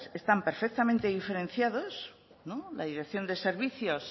están perfectamente diferenciados la dirección de servicios